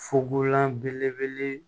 Fukonlan belebele